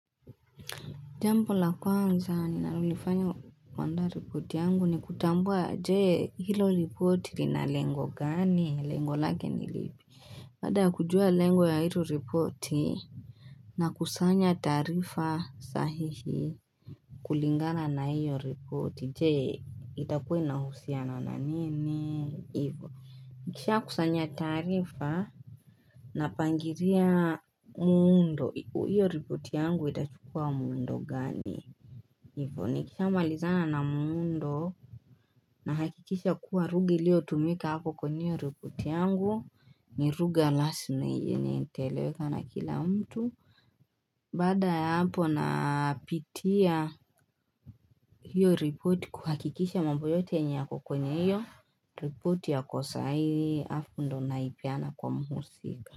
Jambo la kwanza ni nalulifanyo kwaanda reporti yangu ni kutambua jee hilo reporti na lengo gani lengo lagi ni lipi Pada kujua lengo ya hilo reporti na kusanya tarifa sahihi kulingana na hiyo reporti jee itakue na husiana na nene ivo nikisha kusanya tarifa napangiria muundo hiyo ripoti yangu itachukua muundo gani hivyo nikisha walizana na muundo na hakikisha kuwa rugi lio tumika hako kwenyeo ripoti yangu ni ruga last na ijeni niteleweka na kila mtu bada ya hapo napitia hiyo ripoti kuhakikisha mambo yote nyako kwenye iyo ripoti yako sahihii afundo naipiana kwa muusika.